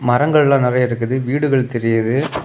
மரங்கள்லாம் நறைய இருக்குது வீடுகள் தெரியுது.